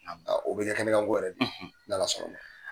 O bɛ kɛ kɛnɛ kan ko Yɛrɛ de ye. N'Ala sɔnn'a ma.